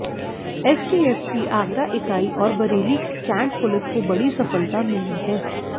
STF की आगरा इकाई और बरेली की कैंट पुलिस को बड़ी सफलता मिली है